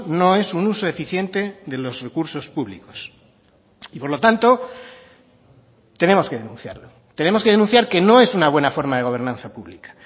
no es un uso eficiente de los recursos públicos y por lo tanto tenemos que denunciarlo tenemos que denunciar que no es una buena forma de gobernanza pública